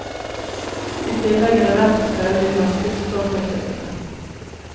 I tillegg er det verdt å prøve de norske supporterklubbene.